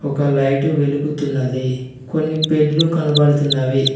ఒక లైట్ వెలుగుతున్నది కొన్ని బెడ్లు కనబడుతున్నవి.